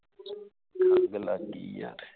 ਖੰਗ ਲੱਗ ਗਈ ਯਾਰ